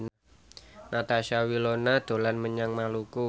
Natasha Wilona dolan menyang Maluku